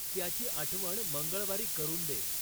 त्याची आठवण मंगळवारी करून दे